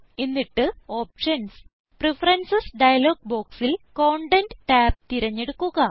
എന്നിട്ട് options preferences dialog ബോക്സിൽ content tab തിരിഞ്ഞെടുക്കുക